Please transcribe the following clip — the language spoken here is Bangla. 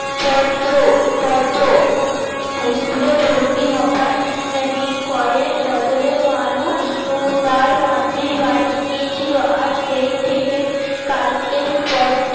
পদ্দ পদ্দ ইস্কুলে ভরতি হওয়ার দিন কয়েক বদলে মালু টার মাসির বাড়ি গিয়েছিল আর সেই থেকে কালকের পট